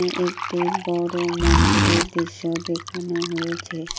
এ একটি বড় মন্দিরের দৃশ্য দেখানো হয়েছে।